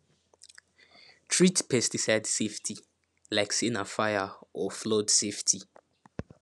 treat pesticide safety like say na fire or flood safety